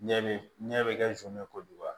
Ɲɛ bɛ ɲɛ bɛ kɛ zon ye kojugu